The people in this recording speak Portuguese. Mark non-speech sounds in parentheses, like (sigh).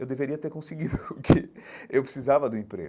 Eu deveria ter conseguido (laughs) o que eu precisava do emprego.